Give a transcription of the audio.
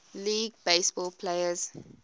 league baseball players